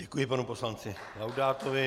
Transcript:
Děkuji panu poslanci Laudátovi.